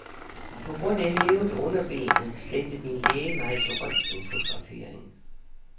På grund af hævet underben sendte min læge mig til røntgenfotografering.